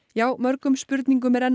já mörgum spurningum er enn